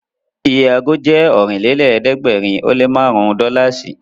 Iye ago jẹ́ Ọ̀rìnlélẹ̀ẹ́dẹ́gbèrin ó lé márùn-ún dọ́làsì